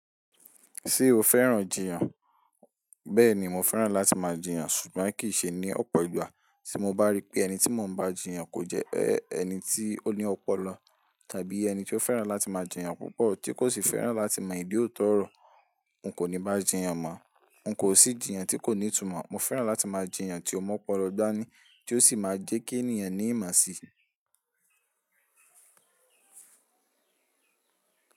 Ṣé o fẹ́ràn jiyàn? Bẹ́ẹ̀ni, mo fẹ́ràn láti máa jiyàn, ṣùgbọ́n kì í ṣe ní ọ̀pọ̀ ìgbà. Tí mo bá rí pé ẹni tí mo ń bá a jiyàn kò jẹ́ ẹni tí ó ní ọpọlọ tàbí ẹni tí ó fẹ́ràn láti máa jiyàn púpọ̀ tí kò sì fẹ́ràn láti mọ ìdí òótọ́ ọ̀rọ̀, n kò ní bá a jiyàn mọ́. N kò sì jiyàn tí kò ní ìtumọ̀. Mo fẹ́ràn láti máa jiyàn ti o mu ọpọlọ da ní, tí ó sì máa jẹ́ kí ènìyàn ní ìmaṣì.